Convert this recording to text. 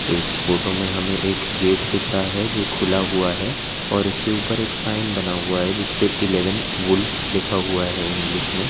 इस फोटो में हमे एक गेट दिख रहा है जो खुला हुआ है और इसके ऊपर एक साइन बना हुआ है जिसपे एलेवेन वुल्फ लिखा हुआ है इंग्लिश में।